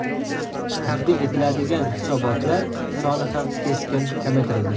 Taqdim etiladigan hisobotlar soni ham keskin kamaytirildi.